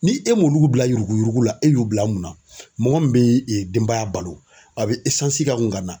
Ni e m'olu bila yuruguyurugu la e y'u bila mun na? Mɔgɔ min be denbaya balo a be kaŋu ka na.